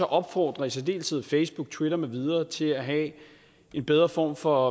opfordre i særdeleshed facebook twitter med videre til at have en bedre form for